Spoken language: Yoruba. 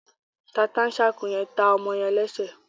Tata-n-sànko yen tá ọmọ yen lẹsẹ